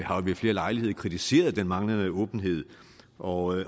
ved flere lejligheder kritiseret den manglende åbenhed og